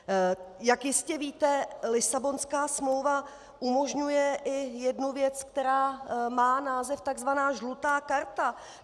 Jak jistě víte, Lisabonská smlouva umožňuje i jednu věc, která má název - tzv. žlutá karta.